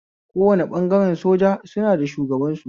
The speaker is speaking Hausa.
Kowane ɓangare soja suna da shugaban su